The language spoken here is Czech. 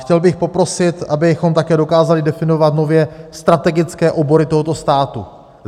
Chtěl bych poprosit, abychom také dokázali definovat nově strategické obory tohoto státu.